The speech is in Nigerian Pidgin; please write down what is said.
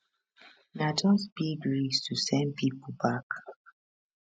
na just big risk to send pipo back